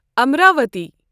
Amravati